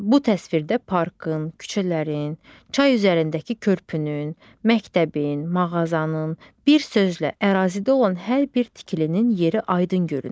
Bu təsvirdə parkın, küçələrin, çay üzərindəki körpünün, məktəbin, mağazanın, bir sözlə ərazidə olan hər bir tikilinin yeri aydın görünür.